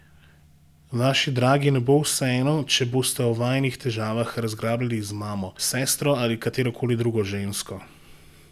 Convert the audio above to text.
Vaši dragi ne bo vseeno, če boste o vajinih težavah razglabljali z mamo, s sestro ali katero koli drugo žensko.